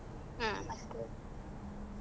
ಹ್ಮ್.